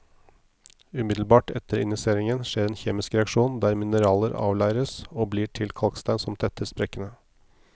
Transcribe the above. Umiddelbart etter injiseringen skjer en kjemisk reaksjon der mineraler avleires, og blir til kalkstein som tetter sprekkene.